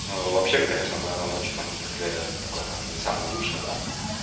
ну а вообще конечно наверное ночью на мотоцикле такое наверно не самое лучшее да